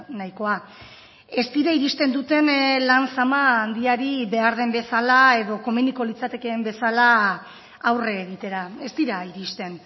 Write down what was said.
nahikoa ez dira iristen duten lan sama handiari behar den bezala edo komeniko litzatekeen bezala aurre egitera ez dira iristen